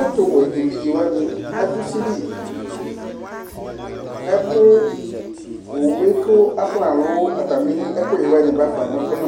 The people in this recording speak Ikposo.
Ɛtʊwɛ evɩdze wani adu ʊsɩlɩ Owue kʊ afɔnalʊ atamiɛkuƴɛ bafa